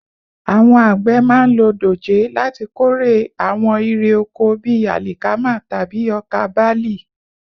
Àwọn àgbẹ̀ máa ń lo dòjé láti kórè àwọn irè oko bí àlìkámà tàbí ọkà bálì